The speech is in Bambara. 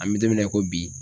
An bi don min na i ko bi